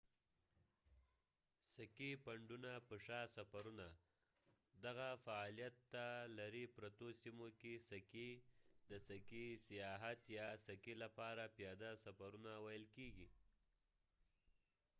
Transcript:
سکي پنډونه په شا سفرونه دغه فعالیت ته لرې پرتو سیمو کې سکي د سکي سیاحت یا سکي لپاره پیاده سفرونه ویل کیږي